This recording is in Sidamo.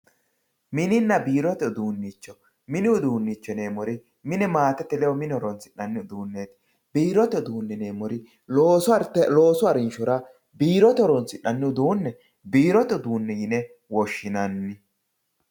mininna biirote uduunicho mini uduunicho yineemmori maatete ledo mine horonsi'nannireeti biirote uduunne yineemmori loosu harinshora biirote horonsi'nanni uduunne biirote yine woshshinanni.